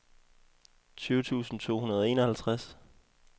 tyve tusind to hundrede og enoghalvtreds